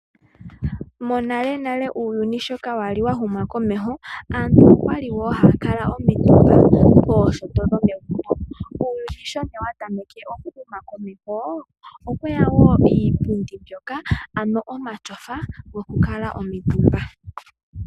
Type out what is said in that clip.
Monale nale uuyuni sho kwali wa huma komeho aantu okwali wo haya kala omitumba piinyangi yomegumbo. Uuyuni sho wa tameke oku huma komeho okweya wo iipundi mbyoka ano omatyofa goku kala omutumba.